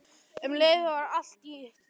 En um leið var hann til í allt.